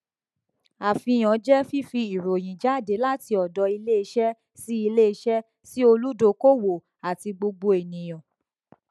àfihàn jẹ fífi ìròyìn jáde láti ọdọ ilé iṣẹ sí ilé iṣẹ sí olùdókòwò àti gbogbo ènìyàn